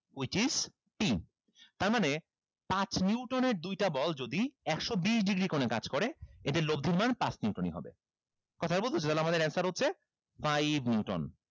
which is p তার মানে পাঁচ neuton এর দুইটা বল যদি একশো বিশ degree কোণে কাজ করে এতে লব্দির মান পাঁচ neuton ই হবে তাহলে আমাদের answer হচ্ছে five neuton